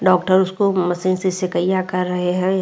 Doctor उसको machine से सेकईंयां कर रहे हैं।